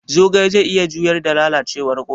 Zogale zai iya juyar da lalacewar koda?